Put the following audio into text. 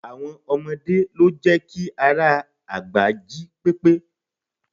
Àwọn ọmọdé lo jẹ́ ki ara àgbà jí pépé